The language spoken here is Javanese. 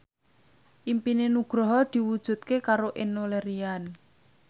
impine Nugroho diwujudke karo Enno Lerian